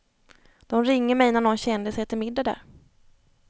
De ringer mig när någon kändis äter middag där.